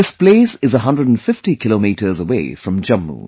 This place is a 150 kilometers away from Jammu